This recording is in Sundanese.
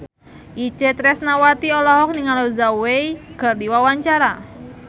Itje Tresnawati olohok ningali Zhao Wei keur diwawancara